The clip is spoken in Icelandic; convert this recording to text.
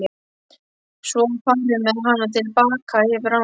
Svo var farið með hana til baka yfir ána.